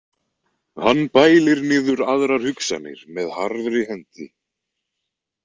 Hann bælir niður aðrar hugsanir með harðri hendi.